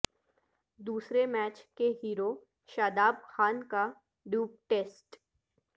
دوسرے میچ کے ہیرو شاداب خان کا ڈوپ ٹیسٹ